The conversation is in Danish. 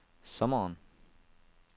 sommeren